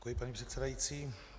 Děkuji, paní předsedající.